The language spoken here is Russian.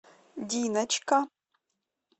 диночка